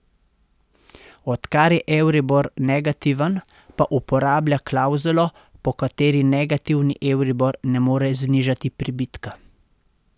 Odkar je euribor negativen, pa uporablja klavzulo, po kateri negativni euribor ne more znižati pribitka.